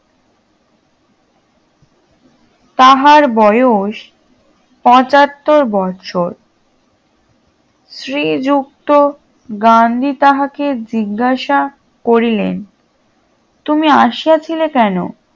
তাহার বয়স পঁচাত্তর বছর শ্রীযুক্ত গান্ধী তাহাকে জিজ্ঞাসা করিলেন তুমি আসিয়াছিলে কেন?